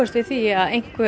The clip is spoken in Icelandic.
við því að einhverjir